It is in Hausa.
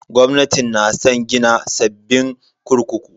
Gwamnatin na san gina sabbin kurkuku.